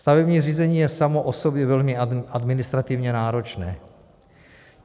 Stavební řízení je samo o sobě velmi administrativně náročné.